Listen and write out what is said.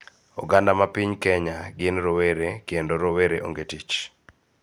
Oganda ma piny Kenya gin rowere, kendo rowere onge tich